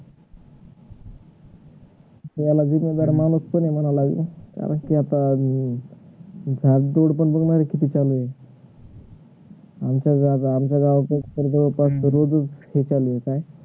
कारण कि आता अं भाग दौड पण किती चालू आहे आमच्या, आमच्या गावाकळ तर पाचशे रोजीच चालू होत आहे